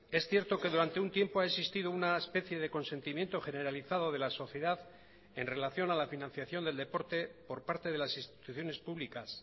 es cierto que durante un tiempo ha existido una especie de consentimiento generalizado de la sociedad en relación a la financiación del deporte por parte de las instituciones públicas